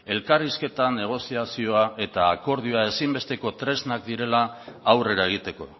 elkarrizketa negoziazio eta akordioa ezinbesteko tresnak direla aurrera egiteko